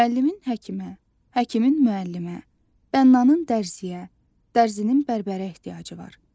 Müəllimin həkimə, həkimin müəllimə, bənnanın dərzüyə, dərzinin bərbərə ehtiyacı var.